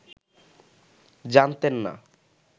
জানতেন না